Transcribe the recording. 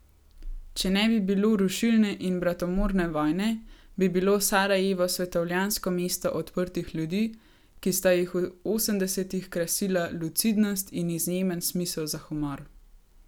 Če ne bi bilo rušilne in bratomorne vojne, bi bilo Sarajevo svetovljansko mesto odprtih ljudi, ki sta jih v osemdesetih krasila lucidnost in izjemen smisel za humor.